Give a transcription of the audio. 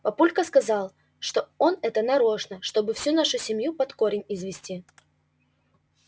папулька сказал что это он нарочно чтобы всю нашу семью под корень извести